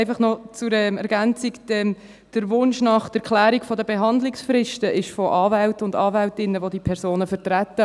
Einfach noch etwas zur Ergänzung: Der Wunsch nach Klärung betreffend die Behandlungsfristen kommt von Anwälten und Anwältinnen, die diese Personen vertreten.